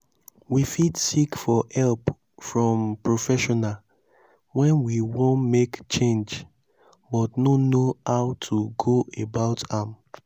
we fit seek for help from professional when we wan make change but no know how to go about am